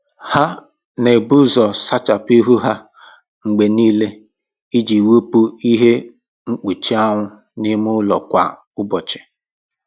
Ha na-ebu ụzọ sachapụ ihu ha mgbe niile iji wepụ ihe mkpuchi anwụ na ime ụlọ kwa ụbọchị